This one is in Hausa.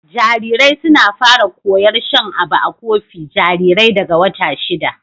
Jarirai suna fara koyar shan abu a kofi jarirai daga wata shida.